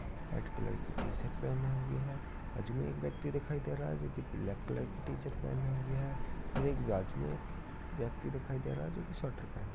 red colour की t-shirt पहने हुए है बाजू में एक व्यक्ति दिखाई दे रहा है जो कि ब्लैक कलर की टी-शर्ट पहने हुए है फिर एक बाजू मे व्यक्ति दिखाई दे रहा है जो कि स्वेटर पहने --